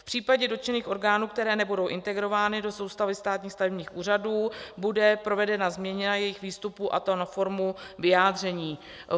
V případě dotčených orgánů, které nebudou integrovány do soustavy státních stavebních úřadů, bude provedena změna jejich výstupů, a to na formu vyjádření.